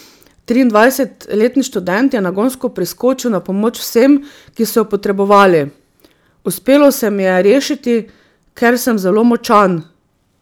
Triindvajsetletni študent je nagonsko priskočil na pomoč vsem, ki so jo potrebovali: 'Uspelo se mi je rešiti, ker sem zelo močan.